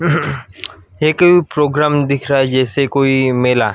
एके programme दिख रहा है जैसे कोई मेला--